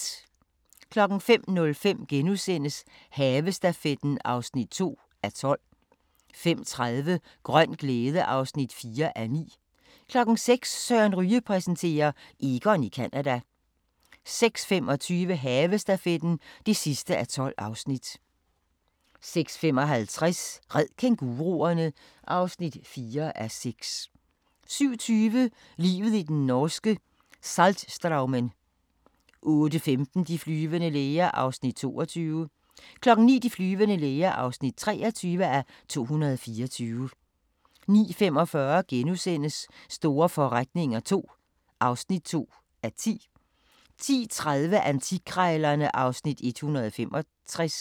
05:05: Havestafetten (2:12)* 05:30: Grøn glæde (4:9) 06:00: Søren Ryge præsenterer: Egon i Canada 06:25: Havestafetten (12:12) 06:55: Red kænguruerne! (4:6) 07:20: Livet i den norske Saltstraumen 08:15: De flyvende læger (22:224) 09:00: De flyvende læger (23:224) 09:45: Store forretninger II (2:10)* 10:30: Antikkrejlerne (Afs. 165)